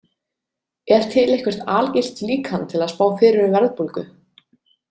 Er til eitthvert algilt líkan til að spá fyrir um verðbólgu?